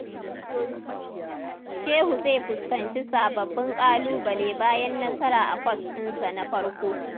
Shehu zai fuskanci sababbin ƙalubale bayan nasara a kwas dinsa na farko.